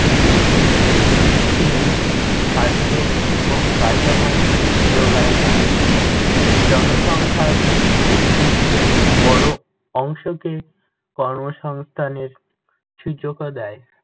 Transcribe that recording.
কৃষি শুধু খাদ্য ও কাঁচামালই জোগায় না, জনসংখ্যার একটি বড় অংশকে কর্মসংস্থানের সুযোগও দেয়।